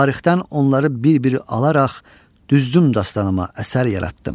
tarixdən onları bir-biri alaraq düzdüm dastanıma əsər yaratdım.